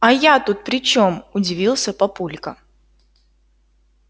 а я тут при чем удивился папулька